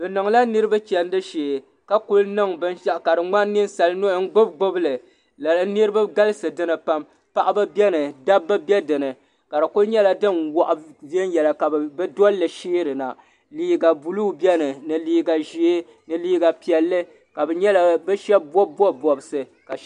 Bɛ niŋla niriba chendi shee ka kuli niŋ binshaɣu ka di ŋmani ninsali nuhi n gbibi gbibili niriba galisi dinni pam paɣaba biɛni dabba be dinni ka di kuli nyɛla din waɣa viɛnyela ka bɛ dolli sheerina liiga buluu biɛni ni liiga ʒee ni liiga piɛli ka bɛ sheba bobi bobi bobsi.